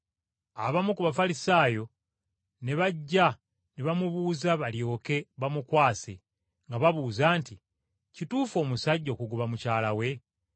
Abamu ku Bafalisaayo ne bajja ne bamubuuza balyoke bamukwase, nga babuuza nti, “Kikkirizibwa omusajja okugoba mukazi we?”